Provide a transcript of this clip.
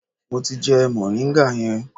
Mo ti jẹ moringa yẹn.